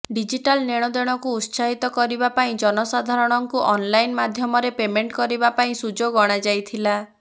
digital ନେଣଦେଣକୁ ଉତ୍ସାହିତ କରିବା ପାଇଁ ଜନସାଧାରଣଙ୍କୁ ଅନ ଲାଇନ୍ ମାଧ୍ୟମରେ ପେମେଣ୍ଟ କରିବା ପାଇଁ ସୁଯୋଗ ଅଣାଯାଇଥିଲା